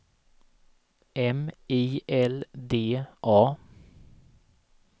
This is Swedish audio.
M I L D A